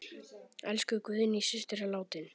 Elsku Guðný systir er látin.